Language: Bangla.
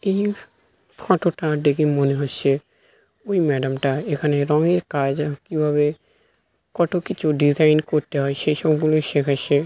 এই ফটো -টা দেখে মনে হচ্ছে ওই ম্যাডাম -টা এখানে রঙের কাজে কিভাবে কত কিছু ডিজাইন করতে হয় সেই সবগুলো শেখাচ্ছে ।